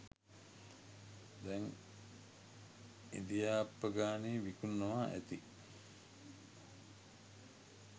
දැං ඉදි ආප්පගානේ විකුණනවා ඇති